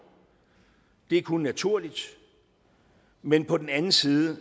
det er kun naturligt men på den anden side